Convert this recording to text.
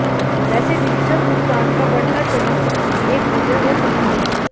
वैसे डिजिटल भुगतान का बढ़ता चलन इसकी एक वजह हो सकती है